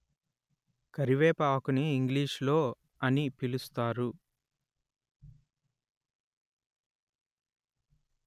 కరివేప ఆకుని ఇంగ్లీషులో అని పిలుస్తారు